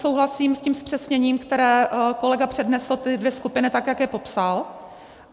Souhlasím s tím zpřesněním, které kolega přednesl, ty dvě skupiny, tak jak je popsal.